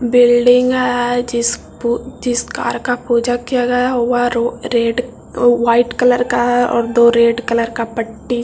building है जिस पु जिस कार का पूजा किया हुआ है वो रो रेड वाइट का है और दो रेड कलर का पट्टी --